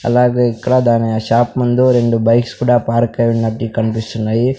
అలాగే ఇక్కడ దాని షాప్ ముందు రెండు బైక్స్ కూడా పార్క్ అయి ఉన్నట్టు కన్పిస్తున్నాయి.